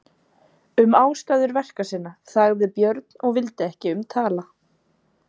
Um ástæður verka sinna þagði Björn og vildi ekki um tala.